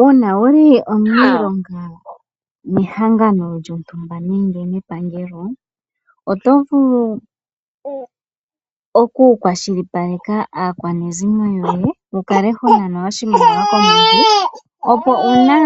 Uuna wuli omuniilonga mehangano lyontumba nenge mepangelo oto vulu ou kwashilipaleka aakwanezimo lyoye wukale ho nanwa oshimaliwa komwedhi opo uuna